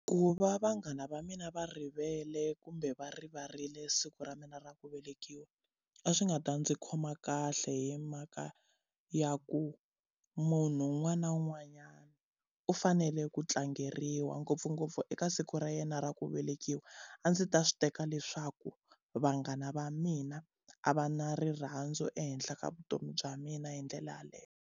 Ku va vanghana va mina va rivele kumbe va rivarile siku ra mina ra ku velekiwa, a swi nga ta ndzi khoma kahle hi mhaka ya ku munhu un'wana na un'wanyana u fanele ku tlangeriwa ngopfungopfu eka siku ra yena ra ku velekiwa. A ndzi ta swi teka leswaku vanghana va mina a va na rirhandzu ehenhla ka vutomi bya mina hi ndlela yaleyo.